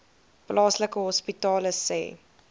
plaaslike hospitale sê